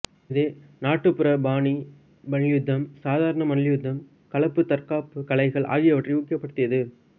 இது நாட்டுப்புற பாணி மல்யுத்தம் சாதாரண மல்யுத்தம் கலப்பு தற்காப்பு கலைகள் ஆகியவற்றை ஊக்கப்படுத்தியது